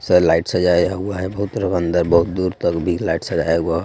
Light सजाया हुआ है अंदर बहुत दूर तक भी लाइट सजाया हुआ है.